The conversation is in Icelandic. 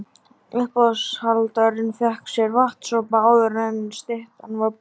Uppboðshaldarinn fékk sér vatnssopa áður en styttan var boðin upp.